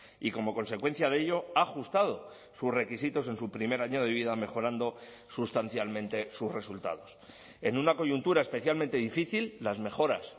y como consecuencia de ello ha ajustado sus requisitos en su primer año de vida mejorando sustancialmente sus resultados en una coyuntura especialmente difícil las mejoras